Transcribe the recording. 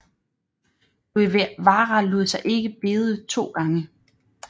Guevara lod sig ikke bede to gange